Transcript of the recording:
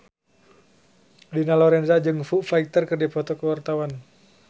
Dina Lorenza jeung Foo Fighter keur dipoto ku wartawan